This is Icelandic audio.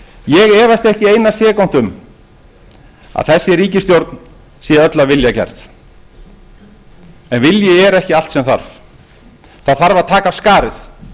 ég efast ekki eina sekúndu um að þessi ríkisstjórn sé öll af vilja gerð en vilji er ekki allt sem þarf það þarf að taka af skarið